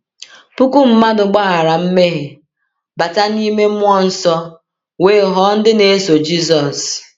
Puku mmadụ gbaghara mmehie, bata n’ime mmụọ nsọ, wee ghọọ ndị na-eso Jisọs.